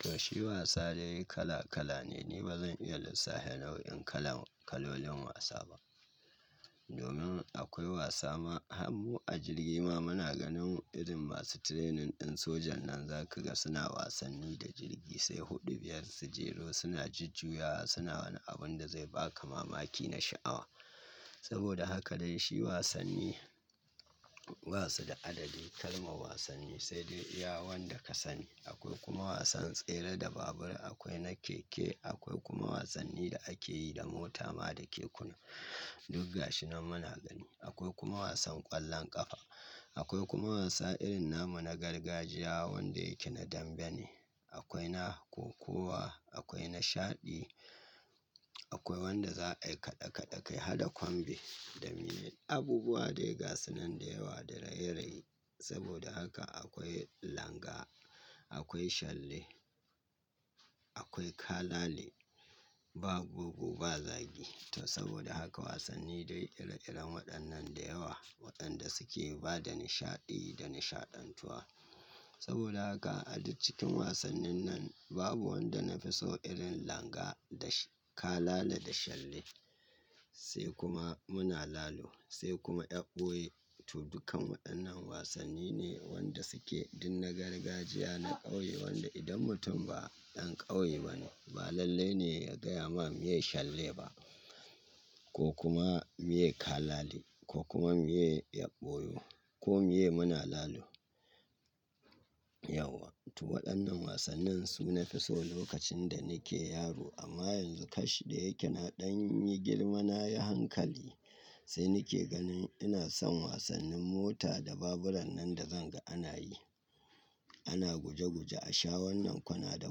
Toh shi wasa dai kala kala ne ni ba zan iya lissafe nau'in kala kalolin wasa ba. Domin akwai wasa ma hanmu a jirgi ma muna ganin irin masu training ɗin sojan nan zakiga suna wasanni da jirgi sai huɗu biyar su jero suna jujjuyawa suna wani abun da zai ba ka mamaki na sha'awa. Saboda haka dai shi wasanni ba su da adadi kalmar wasanni sai dai iya wanda ka sani. Akwai kuma wasan tsere da babur, akwai na keke, akwai kuma wasanni da ake yi da mota ma da kekuna. Duk gashi nan muna gani. Akwai kuma wasan ƙwallon ƙafa. Akwai kuma wasa irin namu na gargajiya wanda yake na dambe ne. Akwai na kokowa, akwai na shaɗi, akwai wanda za a yi kaɗe kaɗe kai, haɗa kwambe, dan me abubuwa dai gasunan da yawa da raye-raye. Saboda haka akwai langa, akwai shalle, akwai kalale, ba bogo ba zagi. To saboda haka wasanni dai ire-iren waɗannan da yawa waɗanda suke ba da nishaɗi da nishaɗantuwa. Saboda haka a duk cikin wasannin nan babu wanda na fi so irin langa da kalale da shalle. Sai kuma muna lalo sai kuma ƴan ɓoye. To dukkan waɗannan wasanni ne wanda suke duk na gargajiya na ƙauye wanda idan mutum ba dan ƙauye ba ne ba lallai ne ya gaya ma me yi shalle ba ko kuma me yi kalale ko kuma me yi ƴan ɓoyo ko me ye muna lalo. Yauwa. To waɗannan wasannin su nafi so lokacin da nike yaro amma yanzu kash da yake na ɗan yi girma nayi hankali sai nike ganin ina san wasannin mota da baburan nan da zanga ana yi. Ana guje guje a sha wannan kwana da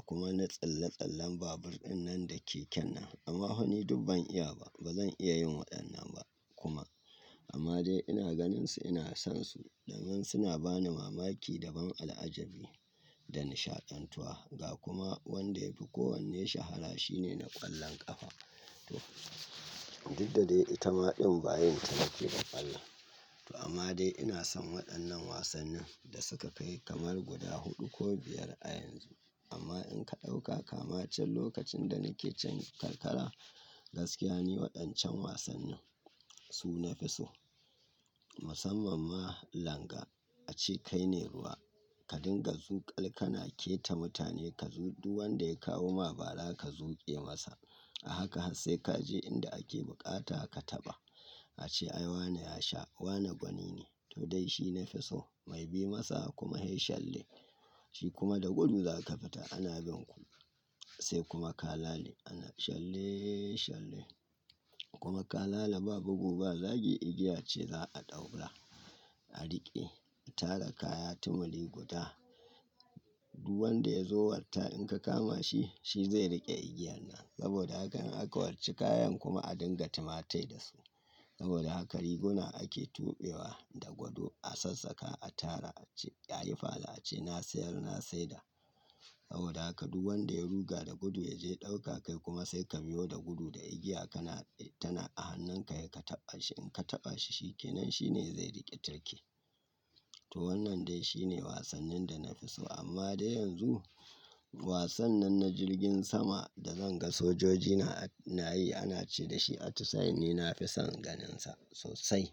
kuma na tsalle tsallen babur ɗin nan da keken nan. Amma fa ni duk ban iya ba. Ba zan iya yin waɗannan ba kuma. Amma dai ina ganinsu ina san su domin suna bani mamaki daban al'ajabi da nishaɗantuwa. Ga kuma wanda yafi kowanne shahara shine na ƙwallon ƙafa. Toh duk da dai itama ɗin bayin ta nake ba ƙwallon. To amma dai ina san waɗannan wasannin da suka kai kamar guda huɗu ko biyar a yanzu. Amma in ka ɗauka kama can lokacin da nike can karkara gaskiya ne waɗancan wasannin su nafi so. Musamman ma langa. Ace kai ne ruwa ka dinga zuƙal ka na ke ta mutane ka zu duk wanda ya kawo ma bara ka zuƙe masa. A haka har sai ka je inda ake buƙata ka taɓa. Ace ai wane ya sha wane gwani ne. To dai shi nafi so. Mai bi masa kuma he shalle. Shi kuma da gudu za ka fita ana bin ku. Sai kuma kalale. Ana shalleee shalle. Kuma kalale ba bogu ba zagi igiya ce za a ɗaura, a riƙe, a tara kaya tumuli guda. Duwanda ya zo watta in ka kama shi shi zai riƙe igiyan nan. Saboda haka in aka warchi kayan kuma a dinga tumatai da su. Saboda haka riguna ake tuɓewa da gwadu a sassaka a tara ace ya yi fada ace na sayar na saida. Saboda haka duwanda ya ruga da gudu ya je ɗauka kai kuma sai ka biyo da gudu da igiya kana tana a hannunka sai ka taɓa shi in ka taɓa shi shi ke nan shi ne zai riƙe tirke. To wannan dai shi ne wasannin da nafi so amma dai yanzu wasan nan na jirgin sama da zan ga sojoji na yi ana ci da shi a tusaye ni nafison ganinsa sosai.